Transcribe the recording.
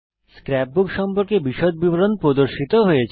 scrapbook সম্পর্কে বিশদ বিবরণ প্রদর্শিত হয়েছে